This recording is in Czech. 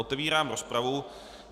Otevírám rozpravu.